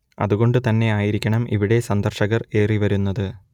അത് കൊണ്ട് തന്നെആയിരിക്കണം ഇവിടെ സന്ദർശകർ ഏറിവരുന്നത്